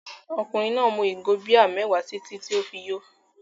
Ọkùnrin náà mu ìgò bíà mẹ́wàá títí tí ó fi yó.